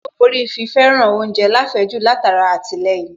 Ó borí fi fẹ́ràn oúnjẹ láfẹ̀ẹ́jù látara àtìlẹyìn